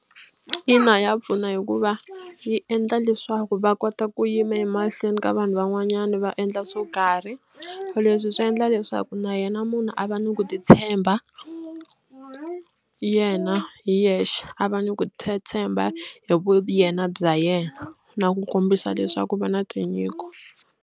Ina ya pfuna hikuva yi endla leswaku va kota ku yima emahlweni ka vanhu van'wanyana va endla swo karhi leswi swi endla leswaku na yena munhu a va ni ku ni tshemba na yena hi yexe a va ni ku tshemba hi vuyena bya yena na ku kombisa leswaku va na tinyiko.